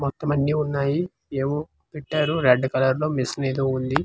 మొత్తం అన్ని ఉన్నాయి ఏవో పెట్టారు రెడ్ కలర్ మిషన్ ఏదో ఉంది పక్కన.